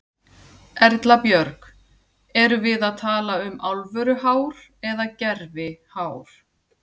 Erla Björg: Erum við að tala um alvöru hár eða gervi hár?